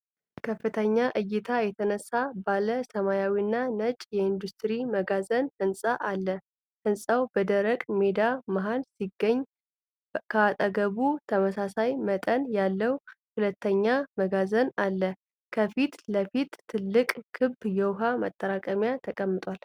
ከፍተኛ እይታ የተነሳ ባለ ሰማያዊና ነጭ የኢንዱስትሪ መጋዘን ሕንፃ ነው። ሕንፃው በደረቅ ሜዳ መሃል ሲገኝ፣ ከአጠገቡ ተመሳሳይ መጠን ያለው ሁለተኛ መጋዘን አለ። ከፊት ለፊት ትልቅ ክብ የውሃ ማጠራቀሚያ ተቀምጧል።